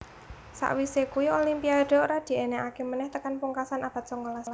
Sakwise kui Olimpiade ora diènèkaké menèh tekan pungkasan abad songolas